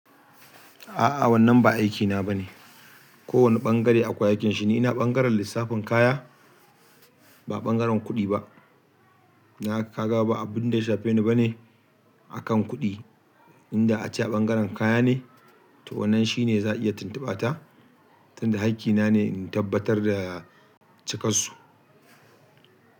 A'a wannan ba aikina bane. Ko wane bangare akwai aikin shi. Ni ina bangaren lissafin kaya ba bangaren kuɗi ba. Na ka gaba abinda ya shafe ni bane akan kuɗi. Inda ace a bangaren kaya ne to wannan shine za a iya tuntuɓata tunda haƙƙi na ne in tabbatar da cikansu.